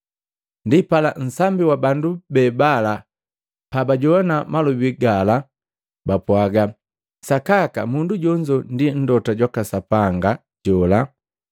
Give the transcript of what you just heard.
Ndipala nsambi wa bandu be bala pabajowana malobi gala bapwaaga, “Sakaka mundu jonzo ndi Mlota jwaka Sapanga jola.”